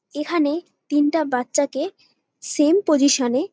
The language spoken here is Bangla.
এখানে তিনটা বাচ্চাকে সেম পজিশন -এ--